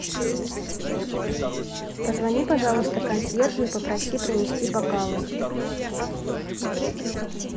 позвони пожалуйста консьержу и попроси принести бокалы